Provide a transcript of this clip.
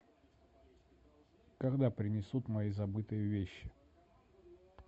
когда принесут мои забытые вещи